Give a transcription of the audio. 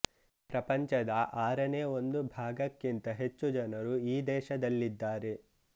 ಪ್ರಪಂಚದ ಆರನೇ ಒಂದು ಭಾಗಕ್ಕಿಂತ ಹೆಚ್ಚು ಜನರು ಈ ದೇಶದಲ್ಲಿದ್ದಾರೆ